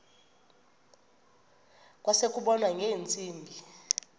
kwase kubonwa ngeentsimbi